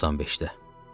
95-də.